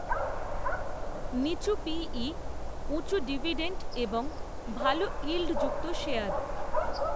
নিচু P E, উঁচু dividend, এবং ভাল ইল্ডযুক্ত শেয়ার